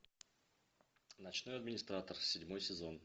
ночной администратор седьмой сезон